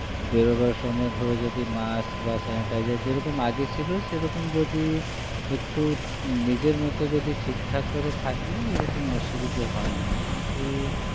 বেরোবার সময় ধরো যদি mask বা sanitizer যেরকম আগে ছিল সেরকম যদি একটু নিজের মতো যদি ঠিকঠাক করে থাকলে এরকম অসুবিধা হয় না কিন্তু